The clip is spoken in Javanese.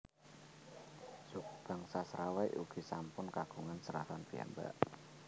Suku bangsa Serawai ugi sampun kagungan seratan piyambak